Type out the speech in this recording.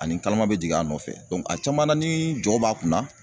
Ani karama bɛ jigin a nɔfɛ a caman na ni jɔw b'a kunna